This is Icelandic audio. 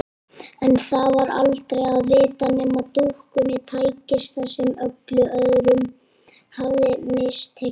En það var aldrei að vita nema dúkkunni tækist það sem öllum öðrum hafði mistekist.